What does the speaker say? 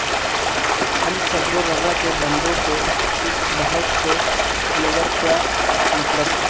ہم سبر ورضا کے بندوں کو اس بحث سے انور کیا مطلب